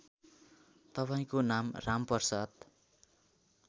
तपाईँको नाम रामप्रसाद